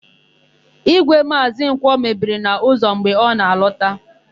Ígwè Maazị Nkwọ mebiri n'ụzọ mgbe ọ na-alọta.